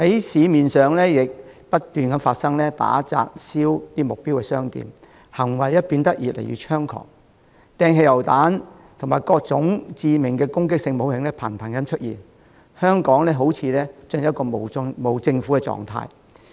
此外，他們不斷在市面上打、砸、燒目標商店，行為變得越來越猖狂，頻頻用上汽油彈，以及各種致命的攻擊性武器，香港好像進入了無政府狀態。